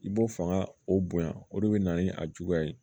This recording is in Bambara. I b'o fanga o bonya o de be na ni a juguya ye